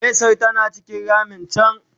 mesar tana cikin ramin can